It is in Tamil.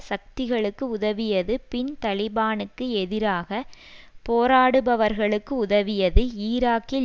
சக்திகளுக்கு உதவியது பின் தலிபானுக்கு எதிராக போராடுபவர்களுக்கு உதவியது ஈராக்கில்